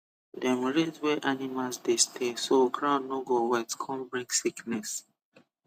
dem raise where animals dey stay so ground no go wet con bring sickness